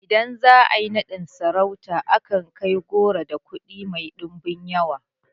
Idan za a yi naɗin sarauta ana kai goro da kuɗi mai ɗimbin yawa